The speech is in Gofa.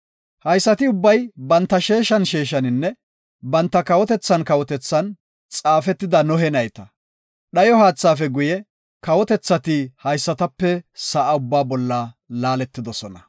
Haysati ubbay banta sheeshan sheeshaninne banta kawotethan kawotethan xaafetida Nohe nayta. Dhayo haathaafe guye kawotethati haysatape sa7a ubbaa laaletidosona.